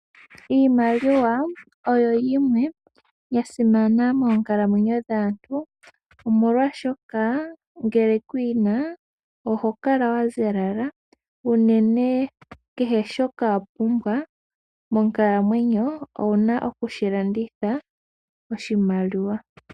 Iimaliwa oyo yimwe ya simana moonkalamwenyo dhaantu, molwashoka ngele ku yi na oho kala wa ziyalala. Unene kehe shoka wa pumbwa monkalamwenyo owu na okushi landitha oshimaliwa.